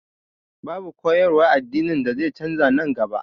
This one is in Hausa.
Babu koyarwar addini da zai canza nan gaba